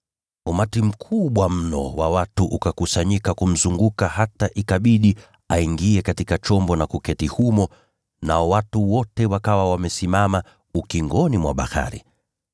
Umati mkubwa mno wa watu ukakusanyika kumzunguka, hata ikabidi aingie katika chombo na kuketi humo, nao watu wote wakawa wamesimama ukingoni mwa bahari.